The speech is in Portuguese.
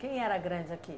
Quem era grande aqui?